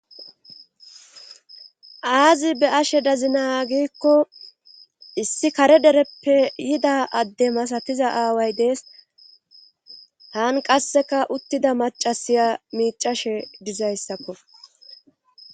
Aazi be ashe dazina giikko issi kare dereppe yida adde masatiza aaway dees haan qasseka uttida macasiya miicashe dizayssakko.